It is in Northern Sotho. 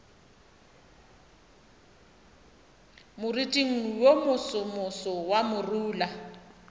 moriting wo mosomoso wa morula